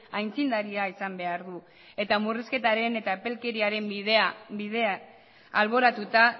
aitzindaria izan behar du eta murrizketaren eta epelkeriaren bidea alboratuta